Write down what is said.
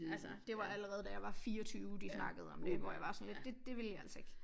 Altså det var allerede da jeg var 24 de snakkede om dét hvor jeg var sådan lidt det det vil jeg altså ikke